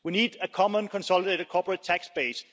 We need a common, consolidated corporate tax base.